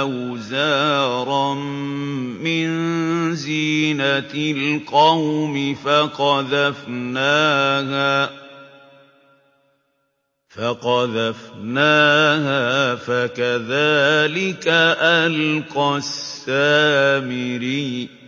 أَوْزَارًا مِّن زِينَةِ الْقَوْمِ فَقَذَفْنَاهَا فَكَذَٰلِكَ أَلْقَى السَّامِرِيُّ